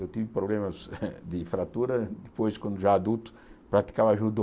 Eu tive problemas de fratura depois, quando já adulto, praticava judô.